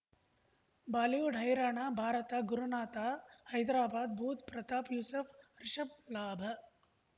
Bollywood ಹೈರಾಣ ಭಾರತ ಗುರುನಾಥ ಹೈದರಾಬಾದ್ ಬುಧ್ ಪ್ರತಾಪ್ ಯೂಸುಫ್ ರಿಷಬ್ ಲಾಭ